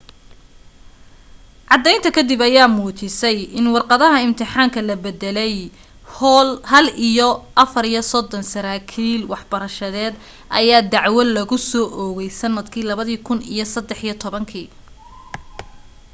caddaynta ka dib ayaa muujisay in warqadaha imtixaanka la bedelay hall iyo 34 saraakiil waxbarashadeed ayaa dacwo lagusoo oogay sanadkii 2013